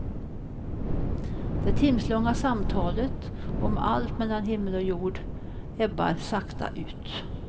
Det timslånga samtalet, om allt mellan himmel och jord, ebbar sakta ut.